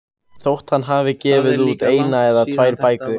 Þótt hann hafi gefið út eina eða tvær bækur.